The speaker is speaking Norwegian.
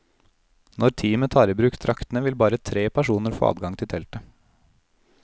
Når teamet tar i bruk draktene, vil bare tre personer få adgang til teltet.